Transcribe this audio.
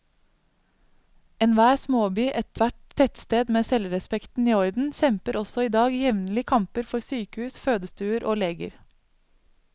Enhver småby, ethvert tettsted med selvrespekten i orden, kjemper også i dag jevnlige kamper for sykehus, fødestuer og leger.